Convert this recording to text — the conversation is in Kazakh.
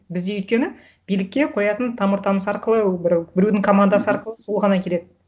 бізде өйткені билікке қоятын тамыр таныс арқылы бір біреудің командасы арқылы сол ғана келеді